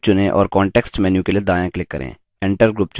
group चुनें और context menu के लिए दायाँ click करें